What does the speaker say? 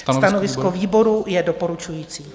Stanovisko výboru je doporučující.